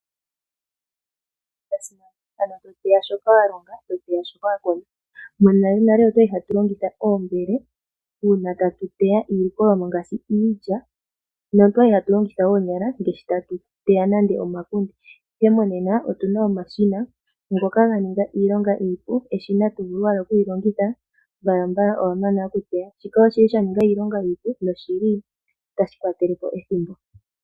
To teya shoka wa longa to teya shoka wa kuna. Monalenale otwa li hatu longitha oombele uuna tatu teya iilikolwa ngele tatu teya ngaashi iilya notwa li hatu longitha oonyala ngele tatu teya nande omakunde, ihe monena otu na omashina ngoka ga ninga iilonga iipu. Eshina to vulu owala oku li longitha mbalambala owa mana okuteya. Shika osha ninga iilonga iipu notashi kwatele po ethimbo.